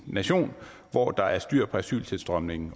nation hvor der er styr på asyltilstrømningen